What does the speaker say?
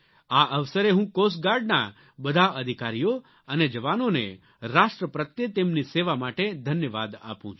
આ અવસરે હું કોસ્ટ ગાર્ડના બધા અધિકારીઓ અને જવાનોને રાષ્ટ્ર પ્રત્યે તેમની સેવા માટે ધન્યવાદ આપું છું